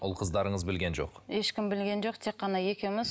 ұл қыздарыңыз білген жоқ ешкім білген жоқ тек қана екеуміз